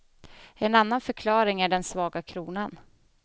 En annan förklaring är den svaga kronan.